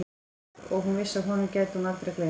Og hún vissi að honum gæti hún aldrei gleymt.